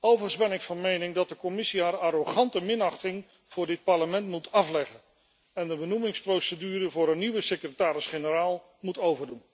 Overigens ben ik van mening dat de Commissie haar arrogante minachting voor dit Parlement moet afleggen en de benoemingsprocedure voor een nieuwe secretaris generaal moet overdoen.